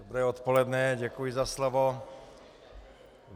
Dobré odpoledne, děkuji za slovo.